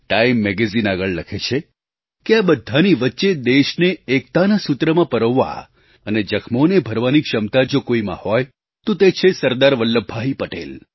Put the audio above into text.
Time magazine આગળ લખે છે કે આ બધાંની વચ્ચે દેશને એકતાના સૂત્રમાં પરોવવા અને જખ્મોને ભરવાની ક્ષમતા જો કોઈમાં હોય તો તે છે સરદાર વલ્લભભાઈ પટેલ